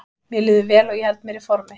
Mér líður vel og ég held mér í formi.